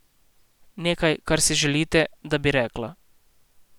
Nekaj, kar si želite, da bi rekla.